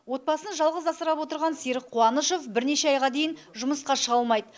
отбасын жалғыз асырап отырған серік қуанышов бірнеше айға дейін жұмысқа шыға алмайды